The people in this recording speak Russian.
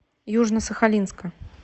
южно сахалинска